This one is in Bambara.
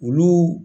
Olu